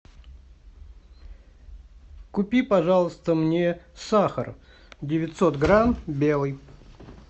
купи пожалуйста мне сахар девятьсот грамм белый